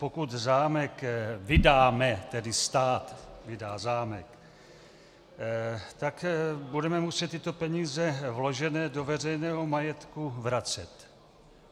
Pokud zámek vydáme, tedy stát vydá zámek, tak budeme muset tyto peníze vložené do veřejného majetku vracet.